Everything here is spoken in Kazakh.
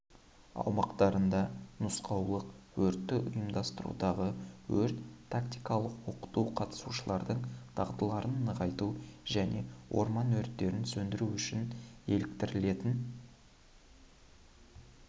аумақтарында нұсқаулық өртті ұйымдастырудағы өрт-тактикалық оқыту қатысушылардың дағдыларын нығайту және орман өрттерін сөндіру үшін еліктіретін